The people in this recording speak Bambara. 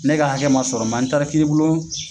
Ne ka hakɛ man sɔrɔ an taara kiiri bulon